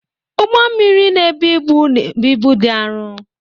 Ụgbọ mmiri na-ebu ibu na-ebu ibu dị arọ